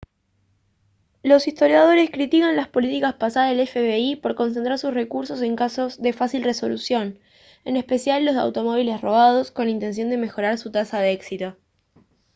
los historiadores critican las políticas pasadas del fbi por concentrar sus recursos en casos de fácil resolución en especial los de automóviles robados con la intención de mejorar su tasa de éxito